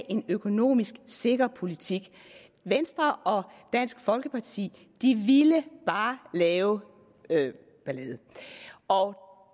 en økonomisk sikker politik venstre og dansk folkeparti ville bare lave ballade og